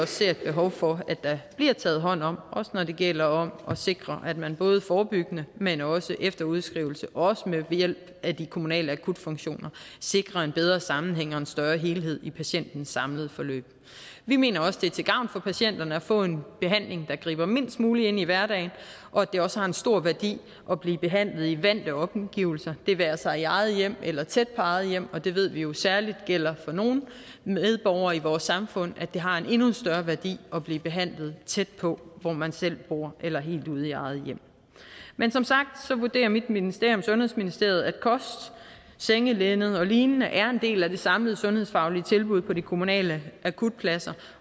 ser et behov for at der bliver taget hånd om også når det gælder om at sikre at man både forebyggende men også efter udskrivelsen og ved hjælp af de kommunale akutfunktioner sikrer en bedre sammenhæng og en større helhed i patientens samlede forløb vi mener også at det er til gavn for patienterne at få en behandling der griber mindst muligt ind i hverdagen og at det også har en stor værdi at blive behandlet i vante omgivelser det være sig i eget hjem eller tæt på eget hjem og det ved vi jo særligt gælder for nogle medborgere i vores samfund at det har en endnu større værdi at blive behandlet tæt på hvor man selv bor eller helt ude i eget hjem men som sagt vurderer mit ministerium sundhedsministeriet at kost sengelinned olign er en del af det samlede sundhedsfaglige tilbud på de kommunale akutpladser